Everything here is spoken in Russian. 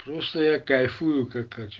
просто я кайфую как